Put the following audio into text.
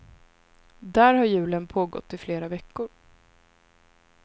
Där har julen pågått i flera veckor.